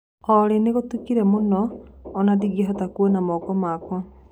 Olly ni gũtũkĩre mũno ona ndĩngĩhota kũona moko makwa